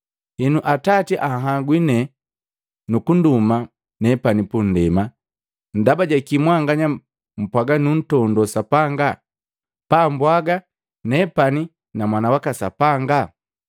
Henu Atati anhagwi nee nukunduma nepani punndema. Ndaba jakii mwanganya mpwaga nuntondo Sapanga, pa mbwaga, nepani na mwana waka Sapanga?